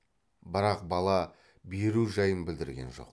бірақ бала беру жайын білдірген жоқ